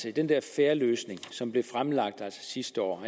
i den der fair løsning som blev fremlagt sidste år